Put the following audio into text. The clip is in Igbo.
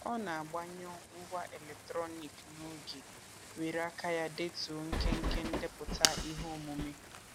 Ọ na-agbanyụ ngwá eletrọniik n'oge were aka ya detuo nkenke ndepụta iheomume.